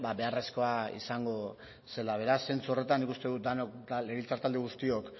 beharrezkoa izango zela beraz zentzu horretan nik uste dut denok legebiltzar talde guztiok